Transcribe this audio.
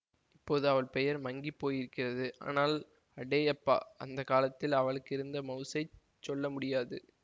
இப்போது அவள் பெயர் மங்கி போயிருக்கிறது ஆனால் அடேயப்பா அந்த காலத்தில் அவளுக்கிருந்த மவுஸைச் சொல்ல முடியாது